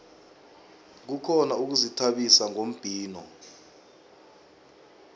kukhona ukuzithabisa ngombhino